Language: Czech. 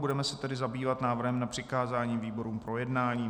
Budeme se tedy zabývat návrhem na přikázání výborům k projednání.